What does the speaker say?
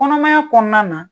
Kɔnɔmaya kɔnɔna na,